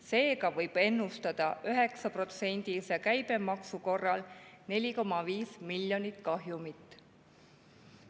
Seega võib ennustada 9%-lise käibemaksu korral 4,5 miljonit kahjumit.